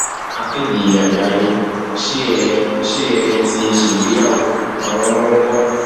akéde àgbáyé ṣé ẹ ṣé ẹ ti ṣègbéyàwó àwọn ọmọ ńkọ